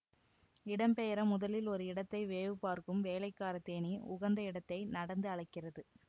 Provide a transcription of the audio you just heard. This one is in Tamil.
இடம்பெயர முதலில் ஒரு இடத்தை வேவுபார்க்கும் வேலைக்காரத்தேனீ உகந்த இடத்தை நடந்து அளக்கிறது